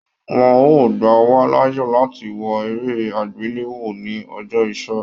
Wọn o gba wa láàyè láti wò eré agbelewo ní ọjọ iṣẹ.